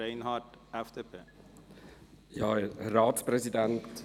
Reinhard von der FDP hat das Wort.